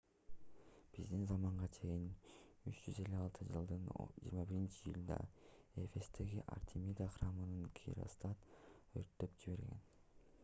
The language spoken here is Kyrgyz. биздин заманга чейин 356-жылдын 21-июлунда эфестеги артемида храмын геростат өрттөп жиберген